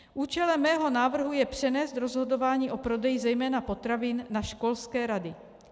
Účelem mého návrhu je přenést rozhodování o prodeji zejména potravin na školské rady.